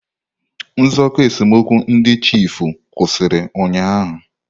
Nzụkọ esemokwu ndị chiefụ kwụsịrị ụnyaahụ.